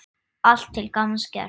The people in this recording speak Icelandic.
Allt til gamans gert.